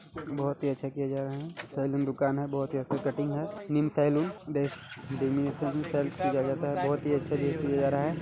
बहोत ही अच्छा किया जा रहा हैं सैलून दुकान हैं बहोत ही अच्छी कटिंग हैं नीम सैलून बेस्ट किया जाता हैं बहोत ही अच्छा दे किया जा रहा हैं।